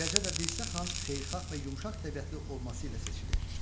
Eləcə də Dirsə xan xeyirxah və yumşaq təbiətli olması ilə seçilir.